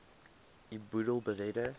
u boedel beredder